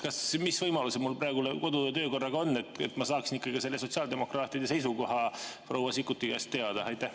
Mis võimalused mul praegu kodu‑ ja töökorra järgi on, et ma saaksin ka sotsiaaldemokraatide seisukoha proua Sikkuti käest teada?